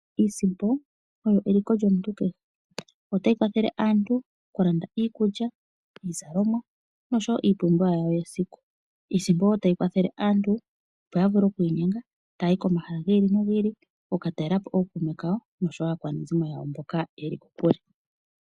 Iisimpo oyo eliko lyomuntu kehe ota yi kwathele aantu okulanda iikulya, iizalomwa noshowo iipumbiwa yawo yesiku. Iisimpo oyo wo tayi kwathele aantuopo ya vule okwiinyenga taya yi komahala giili no giili okukatalelapo ookuume kawo oshowo aakwanezimo yawo mboka yeli kokule.